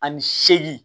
Ani seegin